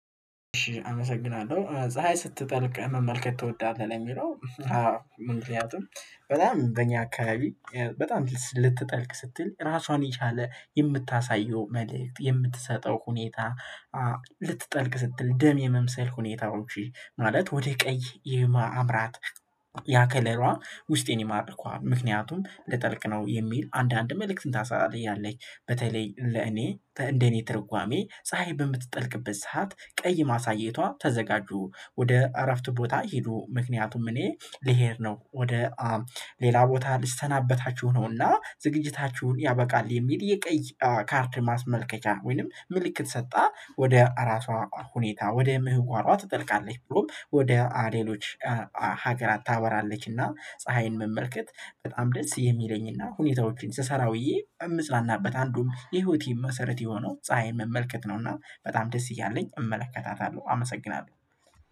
እሺ አመሰግናለሁ ፀሀይ ስትጠልቅ መመልከት ትወዳለህ? ለሚለው አዎ ምክንያቱም በጣም በእኛ አካባቢ በጣም ልትጠልቅ ስትል ራሷን የቻለ የምታሳየው መልእክት የምትሰጠው ሁኔታ ልትጠልቅ ስትል ደም የመምሰል ሁኔታዎች ማለት ወደ ቀይ የማምራት ያ ከለሯ ውስጤን ይማርከዋል ምክንያቱም ልጠልቅ ነው የሚል አንዳንድ መልእክትን ታሳያለይ። በተለይ ለእኔ እንደኔ ትርጓሜ ፀሀይ በምትጠልቅበት ሰዓት ቀይ ማሳየቷ ተዘጋጁ ወደ አረፍት ቦታ ሄዱ ምክንያቱም እኔ ልሄድ ነው ወደ ሌላ ቦታ ልስተናበታችሁ ነውና ዝግጅታችሁን ያበቃል የሚል የቀይ ካርድ ማስመልከቻ ወይንም ምልክት ሰጣ ወደ እራሷ ሁኔታ ወደ ምህዋሯ ትጠልቃለች ብሎም ወደ ሌሎች ሀገራት ታበራለችና ፀሀይን መመልከት በጣም ደስ የሚለኝና ሁኔታዎችን ስሰራ ውዬ የምጽናናበት አንዱም የህይወቴ መሰረት የሆነው ፀሀይን መመልከት ነውና በጣም ደስ እያለኝ እመለከታታለሁ አመሰግናለሁ።